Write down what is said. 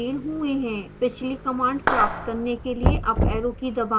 पिछली command प्राप्त करने के लिए अप arrow की दबाएं